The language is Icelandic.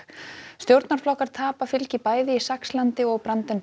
stjórnarflokkar tapa fylgi bæði í Saxlandi og